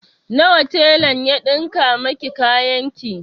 Nawa telan ya ɗinka miki kayan ki?